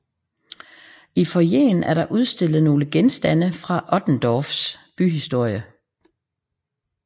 I foyeren er der udstillet nogle genstande fra Otterndorfs byhistorie